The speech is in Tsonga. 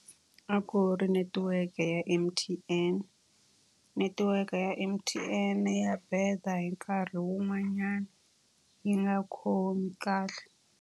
A ku ri netiweke ya M_T_N. Netiweke ya M_T_N ya beda a hi nkarhi wun'wanyani yi nga khomi kahle.